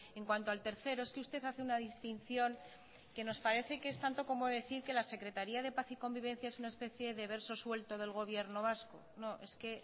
en cuanto al tercero es que usted hace una distinción que nos parece que es tanto como decir que la secretaría de paz y convivencia es una especie de verso suelto del gobierno vasco no es que